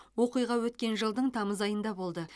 оқиға өткен жылдың тамыз айында болды